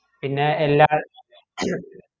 പിന്നെ എല്ലാം